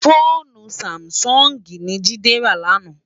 Fónú sámisòngi ni Jide rá làná